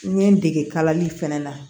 N ye n dege kalali fɛnɛ na